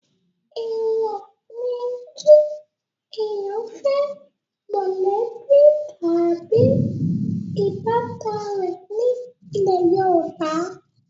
èwò ni kí èèyàn fẹ́ mọ̀lẹ́bí tàbí ìbátan rẹ̀ ní ilẹ̀ yorùbá